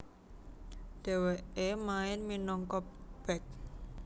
Dhewekè main minangka bek